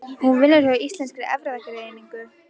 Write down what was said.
Hún vinnur hjá Íslenskri erfðagreiningu.